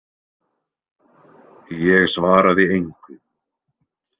Ég svaraði engu.